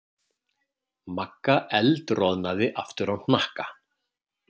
Magga eldroðnaði aftur á hnakka.